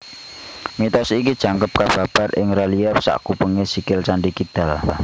Mitos iki jangkep kababar ing relief sakupengé sikil Candhi Kidal